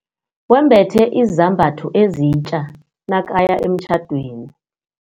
Wembethe izambatho ezitja nakaya emtjhadweni.